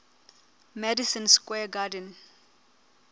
madison square garden